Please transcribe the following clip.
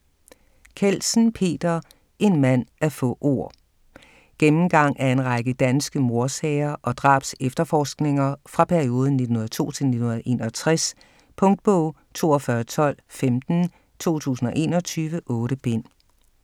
Kjeldsen, Peter: En mand af få ord Gennemgang af en række danske mordsager og drabsefterforskninger fra perioden 1902-1961. Punktbog 421215 2021. 8 bind.